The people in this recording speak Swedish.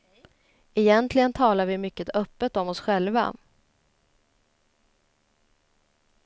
Egentligen talar vi mycket öppet om oss själva.